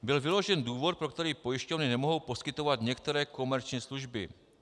Byl vyložen důvod, pro který pojišťovny nemohou poskytovat některé komerční služby.